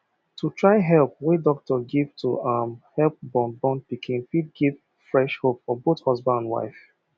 to try help wey doctor give to um help born born pikin fit give fresh hope for both husband and wife